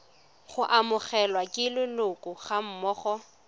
go amogelwa ke leloko gammogo